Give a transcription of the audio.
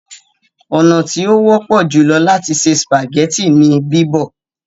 ọnà tí o wọpọ jùlọ láti se spaghetti ní bibọ.